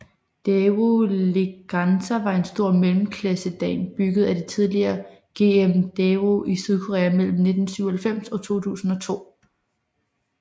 Daewoo Leganza var en stor mellemklassesedan bygget af det tidligere GM Daewoo i Sydkorea mellem 1997 og 2002